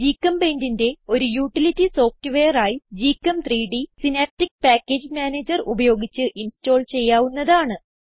GChemPaintന്റെ ഒരു utility software ആയി gchem3ഡ് സിനാപ്റ്റിക് പാക്കേജ് മാനേജർ ഉപയോഗിച്ച് ഇൻസ്റ്റോൾ ചെയ്യാവുന്നതാണ്